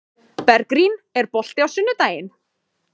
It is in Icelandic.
Bergrín, er bolti á sunnudaginn?